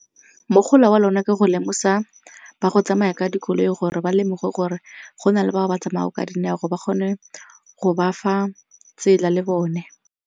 Mogolo wa lona ke go lemosa ba go tsamaya ka dikoloi gore ba lemoge gore go na le bao ba tsamaya ka dinao ba kgone go ba fa tsela le bone.